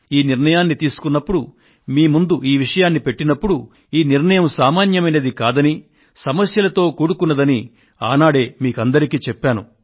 ఈ నిర్ణయాన్ని తీసుకొన్నప్పుడు మీ ముందు ఈ విషయాన్ని పెట్టినప్పుడు ఈ నిర్ణయం సామాన్యమైనది కాదని కష్టాలతో కూడుకొని ఉన్నదని నేను బాహాటంగా మీకందరికీ చెప్పాను